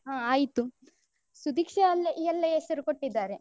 ಹಾ ಆಯ್ತು ಸುದೀಕ್ಷಾ ಅಲ್ಲ ಎಲ್ಲಾ ಹೆಸರು ಕೊಟ್ಟಿದ್ದಾರೆ.